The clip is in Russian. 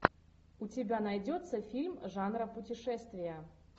у тебя найдется фильм жанра путешествия